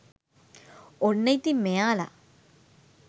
ඔන්න ඉතින් මෙයාල